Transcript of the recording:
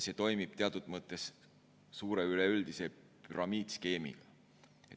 See toimib teatud mõttes suure üleüldise püramiidskeemina.